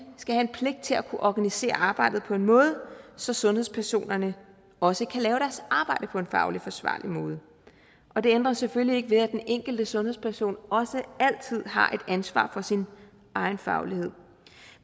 skal have pligt til at organisere arbejdet på en måde så sundhedspersonerne også kan lave deres arbejde på en fagligt forsvarlig måde det ændrer selvfølgelig ikke ved at den enkelte sundhedsperson også altid har et ansvar for sin egen faglighed